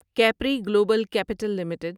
Capri Global Capital limited